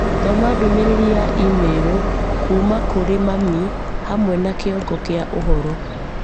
Thoma ndũmĩrĩri ya i-mīrū kuuma kũrĩ mami hamwe na kĩongo kĩa ũhoro